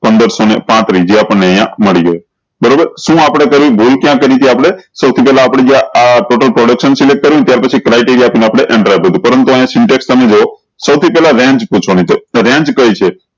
પંદર સૌ ને પાત્રીસ જે અપન ને અયીયા મળી ગયો બરોબર શું અપડે કર્ભૂલ ક્યાં કરી થી આપળે સૌ થી પેહલા આપળે જ્યાં આ total production ત્યાર પછી criteria થી આપળે પરંતુ અયીયા syntax તમે જુવો સૌ થી પેહલા range પૂછવાની છે range કઈ છે